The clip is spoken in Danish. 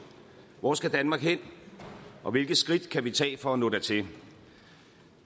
hvor skal danmark hen og hvilke skridt kan vi tage for at nå dertil